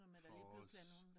For os